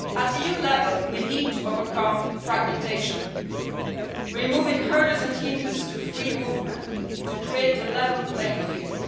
At EU level, we need to overcome fragmentation, removing hurdles and hindrance to free movement to create a level playing field.